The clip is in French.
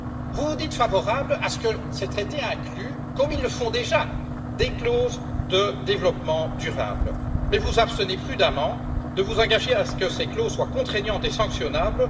Vous vous dites favorable à ce que ces traités incluent, comme ils le font déjà, des clauses de développement durable, mais vous vous abstenez prudemment de vous engager à ce que ces clauses soient contraignantes et sanctionnables.